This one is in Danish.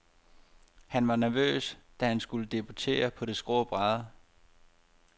Han var nervøs, da han skulle debutere på de skrå brædder.